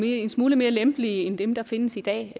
en smule mere lempelige end dem der findes i dag